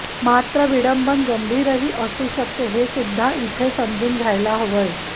मात्र विडंबन गंभीरही असू शकते हे सुद्धा इथे समजून घ्यायला हवंय